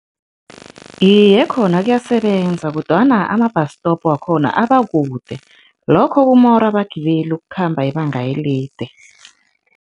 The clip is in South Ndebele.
Iye, khona kuyasebenza kodwana ama-bus stop wakhona abakude, lokho kumora abagibeli ukukhamba ibanga elide.